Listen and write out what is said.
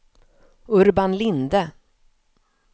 Urban Linde